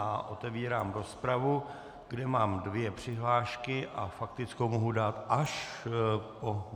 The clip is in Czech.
A otevírám rozpravu, kde mám dvě přihlášky a faktickou mohu dát až po...